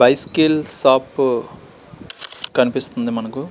bicycle shop కనిపిస్తుంది మనకు --